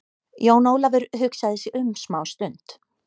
Jón Ólafur hugsaði sig um smá stund.